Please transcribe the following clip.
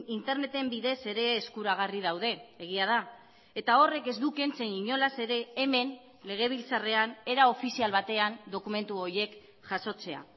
interneten bidez ere eskuragarri daude egia da eta horrek ez du kentzen inolaz ere hemen legebiltzarrean era ofizial batean dokumentu horiek jasotzea